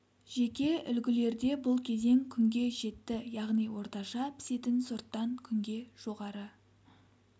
жеке үлгілерде бұл кезең күнге жетті яғни орташа пісетін сорттан күнге жоғары